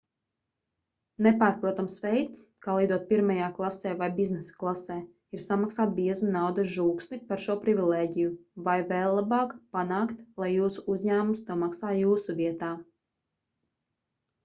nepārprotams veids kā lidot pirmajā klasē vai biznesa klasē ir samaksāt biezu naudas žūksni par šo privilēģiju vai vēl labāk panākt lai jūsu uzņēmums to maksā jūsu vietā